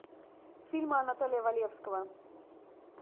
фильмы анатолия валевского